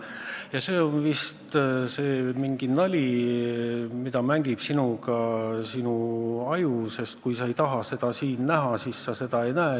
Ja see on vist mingi nali, mida inimese aju temaga mängib: kui sa ei taha midagi kusagil näha, siis sa seda ei näe.